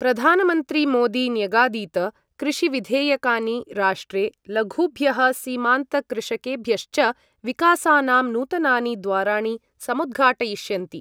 प्रधानमन्त्री मोदी न्यगादीत् कृषिविधेयकानि राष्ट्रे लघुभ्यः सीमान्तकृषकेभ्यश्च विकासानां नूतनानि द्वाराणि समुद्घाटयिष्यन्ति।